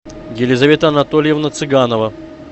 елизавета анатольевна цыганова